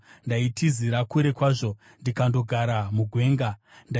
ndaitizira kure kwazvo, ndikandogara mugwenga; Sera